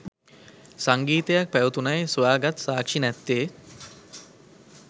සංගීතයක් පැවැතුනයි සොයා ගත් සාක්ෂි නැත්තෙ.